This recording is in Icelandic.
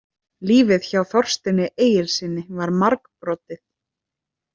Lífið hjá Þorsteini Egilssyni var margbrotið.